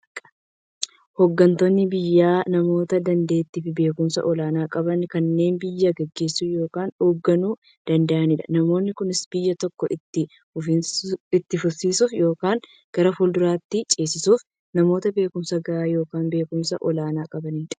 Hooggantoonni biyyaa namoota daanteettiifi beekumsa olaanaa qaban, kanneen biyya gaggeessuu yookiin hoogganuu danda'aniidha. Namoonni kunis, biyya tokko itti fufsiisuuf yookiin gara fuulduraatti ceesisuuf, namoota beekumsa gahaa yookiin beekumsa olaanaa qabaniidha.